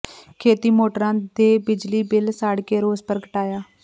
ਖੇਤੀ ਮੋਟਰਾਂ ਦੇ ਬਿਜਲੀ ਬਿੱਲ ਸਾੜ ਕੇ ਰੋਸ ਪ੍ਰਗਟਾਇਆ